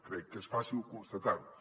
crec que és fàcil constatar ho